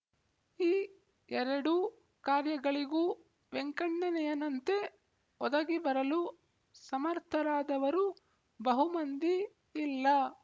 ಈ ಎರಡೂ ಕಾರ್ಯಗಳಿಗೂ ವೆಂಕಣ್ಣನಯ್ಯನಂತೆ ಒದಗಿಬರಲು ಸಮರ್ಥರಾದವರು ಬಹುಮಂದಿ ಇಲ್ಲ